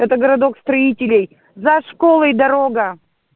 это городок строителей за школой дорога